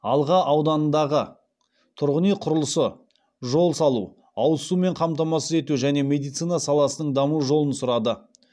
алға ауданындағы тұрғын үй құрылысы жол салу ауыз сумен қамтамасыз ету және медицина саласының даму жолын сұрады